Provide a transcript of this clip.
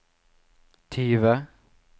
tyve